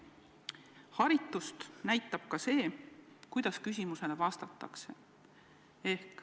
Haritust näitab ka see, kuidas küsimusele vastatakse.